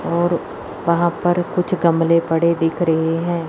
और वहां पर कुछ गमले पड़े हुए दिख रहे हैं।